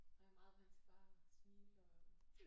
Og jeg er meget vant til bare at smile og øh